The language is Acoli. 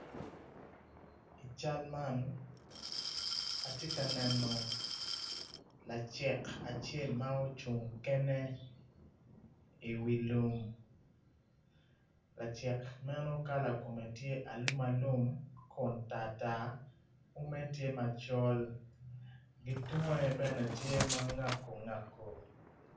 I cal man atye ka neno lacek acel ma ocung kene iwi lum lacek meno kala kome tye alumalum Kun tartar ume tye macol ki tunge bene tye ma ngako ngako.